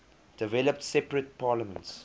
developed separate parliaments